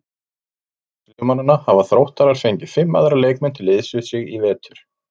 Auk Brasilíumannanna hafa Þróttarar fengið fimm aðra leikmenn til liðs við sig í vetur.